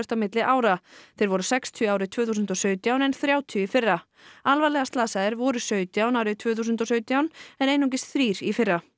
á milli ára þeir voru sextíu árið tvö þúsund og sautján en þrjátíu í fyrra alvarlega slasaðir voru sautján árið tvö þúsund og sautján en einungis þrír í fyrra